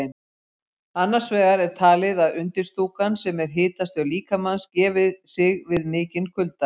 Annars vegar er talið að undirstúkan, sem er hitastöð líkamans, gefi sig við mikinn kulda.